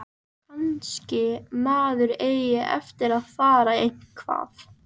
Kannski maður eigi eftir að feðra eitthvað.